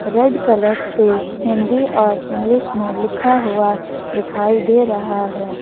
Red colour से हिंदी और English में लिखा हुआ दिखाई दे रहा है।